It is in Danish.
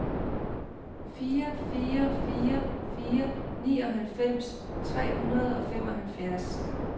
fire fire fire fire nioghalvfems tre hundrede og femoghalvfjerds